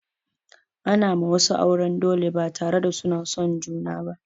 Ana ma wasu auren dole ba tare da suna son junar ba.